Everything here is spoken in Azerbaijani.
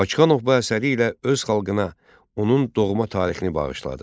Bakıxanov bu əsəri ilə öz xalqına onun doğma tarixini bağışladı.